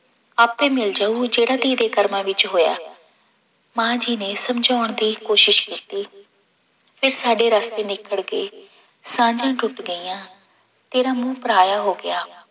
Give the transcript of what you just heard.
ਆਪੇ ਮਿਲ ਜਾਊ ਜਿਹੜਾ ਧੀ ਦੇ ਕਰਮਾਂ ਵਿੱਚ ਹੋਇਆ ਮਾਂ ਜੀ ਨੇ ਸਮਝਾਉਣ ਦੀ ਕੋਸ਼ਿਸ਼ ਕੀਤੀ ਤੇ ਸਾਡੇ ਰਸ਼ਤੇ ਨਿਖੜ ਗਏ, ਸਾਂਝਾਂ ਟੁੱਟ ਗਈਆਂ, ਤੇਰਾ ਮੂੰਹ ਪਰਾਇਆ ਹੋ ਗਿਆ।